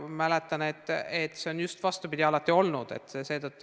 Mäletan, et see on alati just vastupidi olnud.